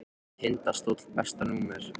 Tindastóll Besta númer?